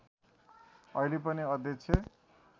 अहिले पनि अध्यक्ष